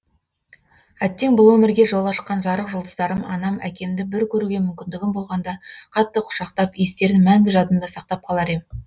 әттең бұл өмірге жол ашқан жарық жұлдыздарым анам әкемді бір көруге мумкіндігім болғанда қатты құшақтап иістерін мәңгі жадымда сақтап қалар ем